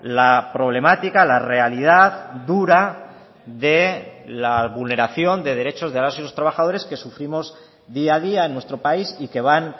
la problemática la realidad dura de la vulneración de derechos de las y los trabajadores que sufrimos día a día en nuestro país y que van